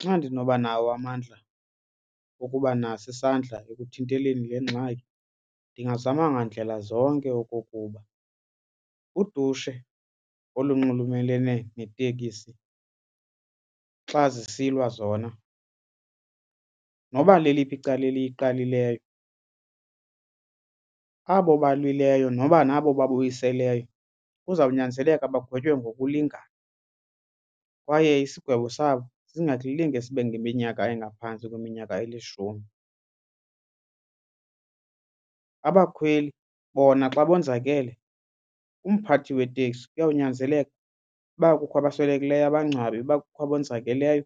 Xa ndinoba nawo amandla okuba naso isandla ekuthinteleni le ngxaki ndingazama ngandlela zonke okokuba udushe olunxulumelene neetekisi xa zisilwa zona noba leliphi icala eliyiqalileyo abo balwileyo noba nabo babuyiseleyo kuzawunyanzeleka bagwetywe ngokulingana kwaye isigwebo sabo singalinge sibe ngeminyaka engaphantsi kweminyaka elishumi. Abakhweli bona xa bonzakele umphathi weteksi kuyawunyanzeleka uba kukho abaswelekelweyo abangcwabe. Uba kukho abonzakeleyo